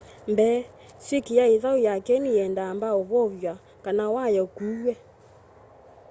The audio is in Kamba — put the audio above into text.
mbee swikyi ya ithau ya kyeni yienda amba uvow'a kana waya ukuuwe